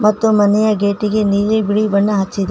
ಮತ್ತು ಮನೆಯ ಗೇಟಿ ಗೆ ನೀಲಿ ಬಿಳಿ ಬಣ್ಣ ಹಚ್ಚಿದೆ.